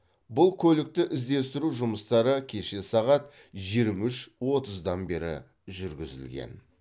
бұл көлікті іздестіру жұмыстары кеше сағат жирмі үш оттыздан бері жүргізілген